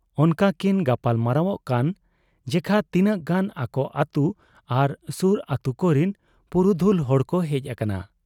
ᱚᱱᱠᱟᱠᱤᱱ ᱜᱟᱯᱟᱞ ᱢᱟᱨᱟᱣᱜ ᱠᱟᱱ ᱡᱮᱠᱷᱟ ᱛᱤᱱᱟᱹᱜ ᱜᱟᱱ ᱟᱠᱚ ᱟᱹᱛᱩ ᱟᱨ ᱥᱩᱨ ᱟᱹᱛᱩ ᱠᱚᱨᱤᱱ ᱯᱩᱨᱩᱫᱷᱩᱞ ᱦᱚᱲᱠᱚ ᱦᱮᱡ ᱟᱠᱟᱱᱟ ᱾